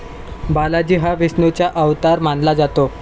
बालाजी हा विष्णूचा अवतार मानला जातो